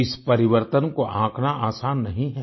इस परिवर्तन को आंकना आसान नहीं है